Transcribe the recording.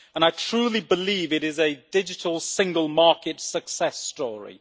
I truly believe it is a digital single market success story.